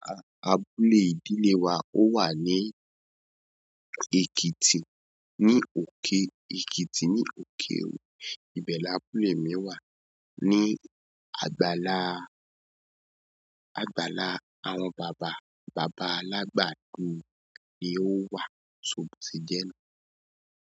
Abúlé ìdílé wa ó wa ní Ekiti, ní òkè Ekiti ní òkè. Ibẹ l'abule yẹn wà ní àgbàlá, àgbàlá àwọn bàbá, bàbá alágbàdo ni ó wà sọ bò ṣe jẹ́ nùú.